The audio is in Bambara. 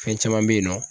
Fɛn caman bɛ yen nɔ